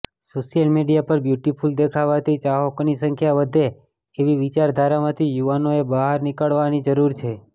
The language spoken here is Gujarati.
સોશ્યલ મીડિયા પર બ્યુટિફુલ દેખાવાથી ચાહકોની સંખ્યા વધે એવી વિચારધારામાંથી યુવાનોએ બહાર નીકળવાની જરૂર છે